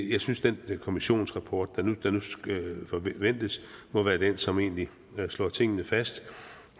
jeg synes den kommissionsrapport der forventes må være den som egentlig slår tingene fast